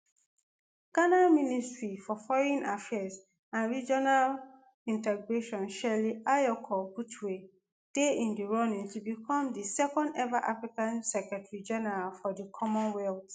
ghana ministry for foreign affairs and regional integration shirley ayokor botchwey dey in di running to bicom di second eva african secretary-general for di commonwealth.